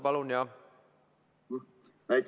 Palun, jah!